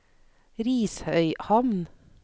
Risøyhamn